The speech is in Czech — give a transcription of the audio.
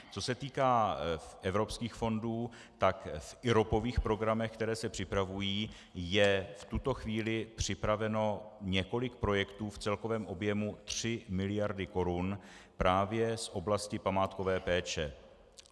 Co se týká evropských fondů, tak v IROPových programech, které se připravují, je v tuto chvíli připraveno několik projektů v celkovém objemu tři miliardy korun právě z oblasti památkové péče.